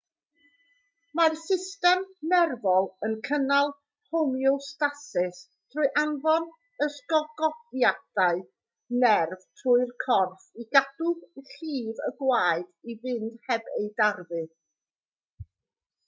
mae'r system nerfol yn cynnal homeostasis trwy anfon ysgogiadau nerf trwy'r corff i gadw llif y gwaed i fynd heb ei darfu